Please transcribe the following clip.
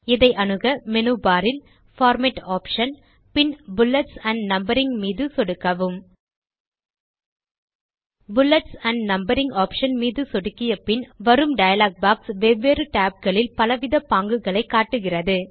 இதை அணுக menu bar இல் பார்மேட் ஆப்ஷன் பின் புல்லெட்ஸ் ஆண்ட் நம்பரிங் மீது சொடுக்கவும் புல்லெட்ஸ் ஆண்ட் நம்பரிங் ஆப்ஷன் மீது சொடுக்கிய பின் வரும் டயலாக் பாக்ஸ் வெவ்வேறு tab களில் பலவித பாங்குகளை காட்டுகிறது